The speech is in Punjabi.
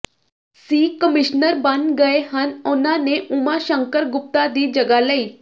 ਸੀ ਕਮੀਸ਼ਨਰ ਬਣ ਗਏ ਹਨ ਉਨਾਂ ਨੇ ਓਮਾ ਸ਼ੰਕਰ ਗੁਪਤਾ ਦੀ ਜਗ੍ਹਾ ਲਈ